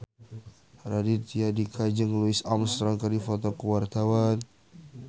Raditya Dika jeung Louis Armstrong keur dipoto ku wartawan